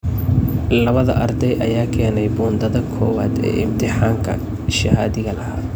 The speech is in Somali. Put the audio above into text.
Labada arday ayaa keenay bundada koowaad ee imtixaankii shahaadiga ahaa.